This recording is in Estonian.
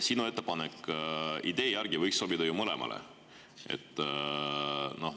Sinu ettepanek võiks idee järgi sobida ju mõlemale.